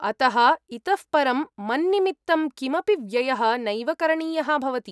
अतः, इतः परं मन्निमित्तं किमपि व्ययः नैव करणीयः भवति।